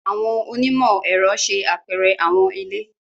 Àwọn onimọ-ẹrọ ṣe apẹrẹ àwọn ile.